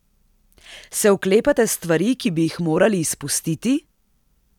Se oklepate stvari, ki bi jih moral izpustiti?